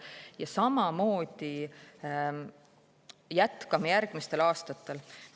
Ja samamoodi jätkame järgmistel aastatel.